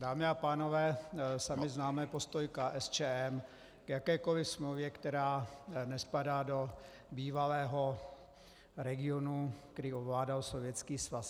Dámy a pánové, sami známe postoj KSČM k jakékoliv smlouvě, která nespadá do bývalého regionu, který ovládal Sovětský svaz.